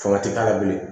Sɔrɔ ti k'a la bilen